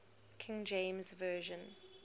king james version